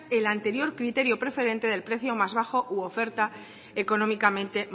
el anterior criterio preferente del precio más bajo u oferta económicamente